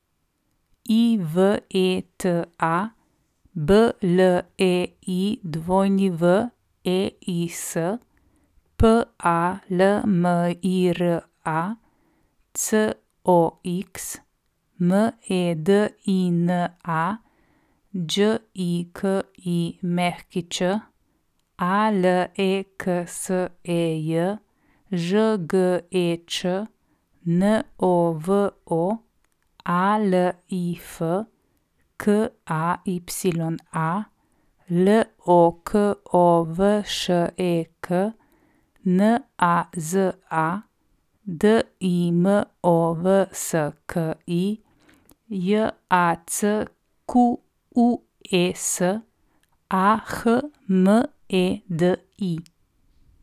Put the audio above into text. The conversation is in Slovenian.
Iveta Bleiweis, Palmira Cox, Medina Đikić, Aleksej Žgeč, Novo Alif, Kaya Lokovšek, Naza Dimovski, Jacques Ahmedi.